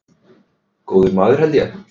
Góður maður held ég.